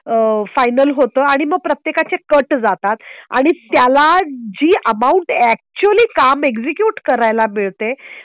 आह फायनल होतो आणि मग प्रत्येकाचे कट जातात आणि त्याला जी अमाउंट अॅक्चूअली काम एग्जक्यूट करायला मिळते